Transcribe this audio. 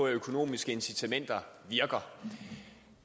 økonomisk incitament